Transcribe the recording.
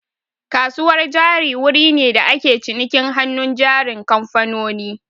Kasuwar jari wuri ne da ake cinikin hannun jarin kamfanoni